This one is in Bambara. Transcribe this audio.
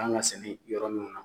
kan ga sɛnɛ yɔrɔ min na